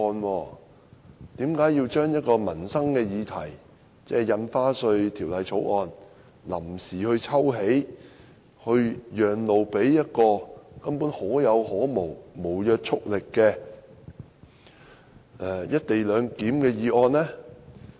為何要臨時抽起關乎民生議題的《條例草案》，讓路給一項根本可有可無、無約束力的"一地兩檢"議案呢？